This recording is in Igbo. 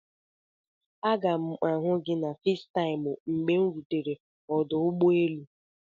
Aga m ihu gị na Fesitaimu mgbe m rutere ọdụ ụgbọ elu.